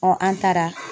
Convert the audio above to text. an taara